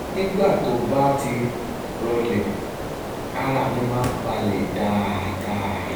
nígbà tó bá ti rọlẹ̀ ara mi máa ń balẹ̀ dáadáa